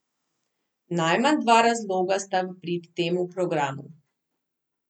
Najmanj dva razloga sta v prid temu programu.